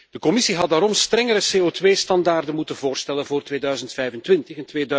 De Commissie had daarom strengere CO2 normen moeten voorstellen voor 2025